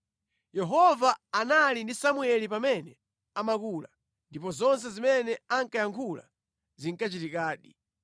Yehova anali ndi Samueli pamene amakula, ndipo zonse zimene ankayankhula zinkachitikadi.